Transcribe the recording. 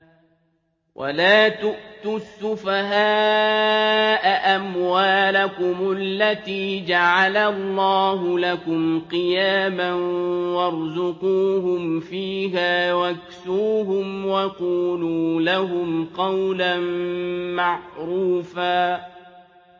وَلَا تُؤْتُوا السُّفَهَاءَ أَمْوَالَكُمُ الَّتِي جَعَلَ اللَّهُ لَكُمْ قِيَامًا وَارْزُقُوهُمْ فِيهَا وَاكْسُوهُمْ وَقُولُوا لَهُمْ قَوْلًا مَّعْرُوفًا